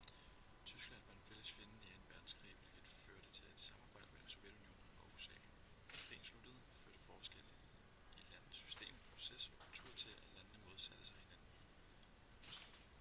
tyskland var en fælles fjende i 2. verdenskrig hvilket førte til et samarbejde mellem sovjetunionen og usa da krigen sluttede førte forskellen i landenes system proces og kultur til at landene modsatte sig hinanden